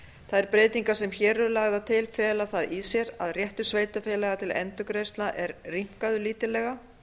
þær breytingar sem hér eru lagðar til fela það í sér að réttur sveitarfélaga til endurgreiðslna er rýmkaður lítillega